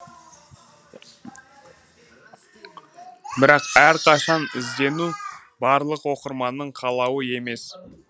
бірақ әрқашан іздену барлық оқырманның қалауы емес